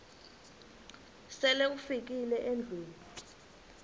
sele ufikile endlwini